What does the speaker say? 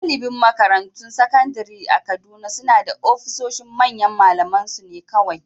Galibin makarantun sakandare a Kaduna suna da ofisoshin manyan malamansu ne kawai